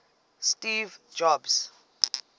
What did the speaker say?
steve jobs